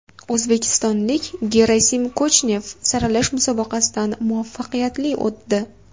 O‘zbekistonlik Gerasim Kochnev saralash musobaqasidan muvaffaqiyatli o‘tdi.